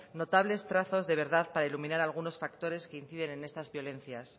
notables trazos de verdad para iluminar algunos factores que inciden en estas violencias